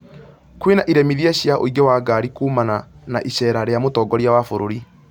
kwĩna iremithia cia ũingĩ wa ngari kuumana na icera rĩa mũtongoria wa bũrũri